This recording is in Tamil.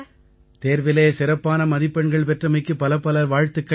தேர்விலே சிறப்பான மதிப்பெண்கள் பெற்றமைக்கு பலப்பல வாழ்த்துக்கள்